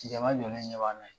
Jama jɔlen ɲɛ b'an na